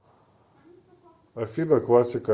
афина классика